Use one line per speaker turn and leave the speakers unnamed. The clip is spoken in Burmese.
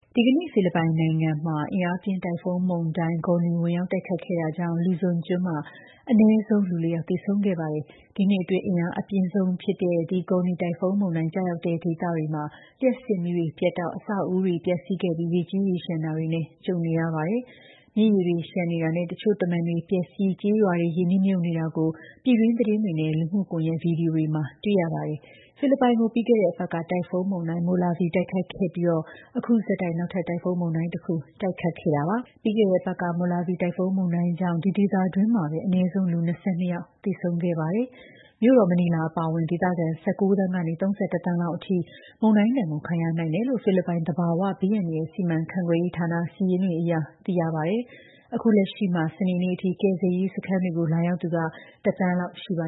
ဒီကနေ့ ဖိလစ်ပိုင်နိုင်ငံကို အင်အားပြင်း တိုင်ဖုန်းမုန်တိုင်း Goni ဝင်ရောက်တိုက်ခတ်ခဲ့တာကြောင့် Luzon ကျွန်းမှာ အနည်းဆုံး လူ ၄ ယောက် သေဆုံးခဲ့ပါတယ်။ ဒီနှစ်အတွင်း အင်အားအပြင်းဆုံးဖြစ်တဲ့ ဒီ Goni တိုင်ဖုန်းမုန်တိုင်း ကျရောက်တဲ့ ဒေသတွေမှာ လျှပ်စစ်မီးပြတ်တောက်၊ အဆောက်အဦးတွေ ပျက်စီးခဲ့ပြီး ရေကြီး၊ ရေလျှံတာတွေနဲ့ ကြုံနေရတာပါ။ မြစ်ရေတွေလျှံနေတာနဲ့ တချို့ တမံတွေပျက်စီး၊ ကျေးရွာတွေ ရေနစ်မြုပ်နေတာကို ပြည်တွင်းသတင်းတွေနဲ့ လူမှုကွန်ရက် ဗွီဒီယိုတွေမှာ တွေ့ရပါတယ်။ ဖိလစ်ပိုင်ကို ပြီးခဲ့တဲ့အပတ်က တိုင်ဖုန်း Molave တိုက်ခတ်ခဲ့ပြီး အခု ဆက်တိုက် နောက်ထပ် တိုင်ဖုန်းမုန်တိုင်းတခု တိုက်ခတ်ခဲ့တာပါ။ ပြီးခဲ့တဲ့အပတ်က Molave တိုင်ဖုန်းမုန်တိုင်းကြောင့် ဒီဒေသတွင်းမှာပဲ အနည်းဆုံး လူ ၂၂ ယောက် သေဆုံးခဲ့ရပါတယ်။ မြို့တော် မနီလာ အပါအဝင် ဒေသခံ ၁၉ သန်းကနေ ၃၁ သန်းလောက်အထိ မုန်တိုင်းဒဏ်ကို ခံရနိုင်တယ်လို့ ဖိလစ်ပိုင် သဘာဝဘေးအန္တရာယ် စီမံခန့်ခွဲရေးဌာန စာရင်းတွေအရ သိရပါတယ်။ အခုလက်ရှိမှာ စနေနေ့အထိ ကယ်ဆယ်ရေးစခန်းတွေကို လာရောက်သူ ၁ သန်းလောက်ရှိပါ